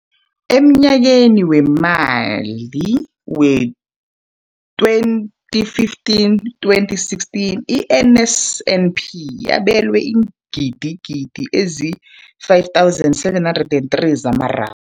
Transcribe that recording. Emnyakeni weemali we-2015, 2016, i-NSNP yabelwa iingidigidi ezi-5 703 zamara